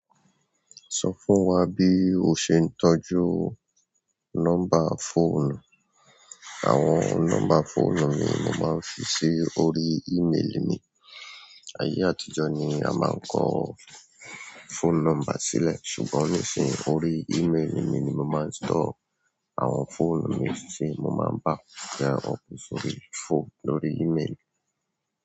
Sọ fún wa bí o ṣe ń tọ́jú nọ́mbà fóònù. Àwọn nọ́mbà fóònù ni mo máa ń fi sí orí ímélì mi. Ayé àtijọ́ ni a máa ń kọ́ fóònù nọ́mbà sílẹ̀. Ṣùgbọ́n nísìnyí, orí ímélì mi ni mo máa ń store àwọn fóònù mi si mo máa back e up sórí phone lórí ímélì.